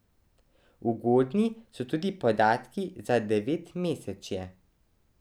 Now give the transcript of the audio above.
Ugodni so tudi podatki za devetmesečje.